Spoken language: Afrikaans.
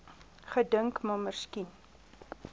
gedink maar miskien